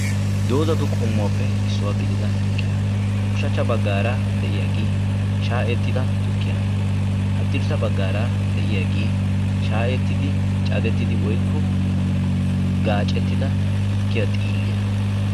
Dozatu qommuwaappe issuwa gididda tukiya, ushacha bagaagee de'iyagge shaayetida tukkiya hadirssa bagara de'yagee shaayettidi cadetida woykko gaacetida tukkiya xiiliya